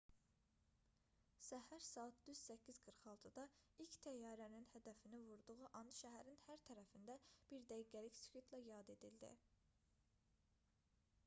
səhər saat düz 8:46-da ilk təyyarənin hədəfini vurduğu an şəhərin hər tərəfində bir dəqiqəlik sükutla yad edildi